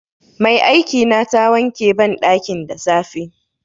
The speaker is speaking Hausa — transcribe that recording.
Mai aikina ta wanke banɗakin da safe.